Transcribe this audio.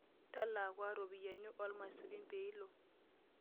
Talaa kua ropiyiani oolmaisurin pee ilo.